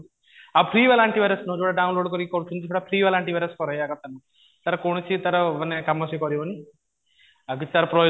ଆଉ ଫ୍ରି ଵାଲା anti virus ନୁହଁ ଯୋଉଟା download କରିକି କରୁଛନ୍ତି ସେଟା ଫ୍ରି ବାଲା କରେଇବା କଥା ତାର କୌଣସି ତାର ମାନେ କୌଣସି କାମ ସେ କରିବନି ଆଉ କିଛି ତାର